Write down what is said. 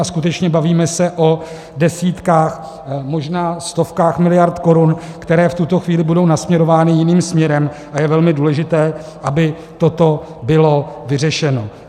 A skutečně bavíme se o desítkách, možná stovkách miliard korun, které v tuto chvíli budou nasměrovány jiným směrem, a je velmi důležité, aby toto bylo vyřešeno.